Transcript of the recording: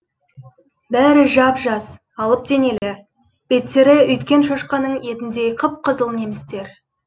бәрі жап жас алып денелі беттері үйткен шошқаның етіндей қып қызыл немістер